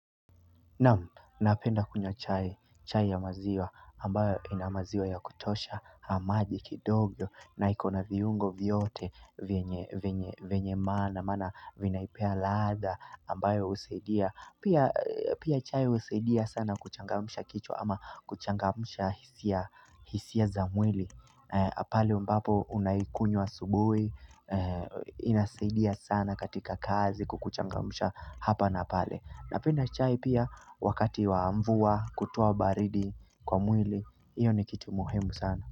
Na'am, napenda kunywa chai, chai ya maziwa, ambayo ina maziwa ya kutosha, na maji kidogo, na iko na viungo vyote vyenye vyenye maana, maana vinaipea ladha, ambayo husaidia, pia chai husaidia sana kuchangamsha kichwa ama kuchangamsha hisia za mwili, pale ambapo unaikunywa asubuhi, inasaidia sana katika kazi kukuchangamsha hapa na pale. Napenda chai pia wakati wa mvua kutowa baridi kwa mwili hiyo ni kitu muhimu sana.